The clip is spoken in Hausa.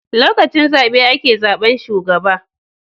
Lokacin zabe ake zabar shugaba